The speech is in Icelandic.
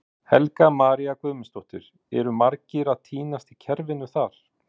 Helga María Guðmundsdóttir: Eru margir að týnast í kerfinu þar?